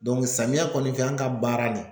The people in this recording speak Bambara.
samiya kɔni fɛ an ka baara nin